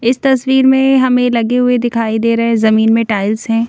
इस तस्वीर में हमें लगे हुए दिखाई दे रहे हैं जमीन में टाइल्स हैं।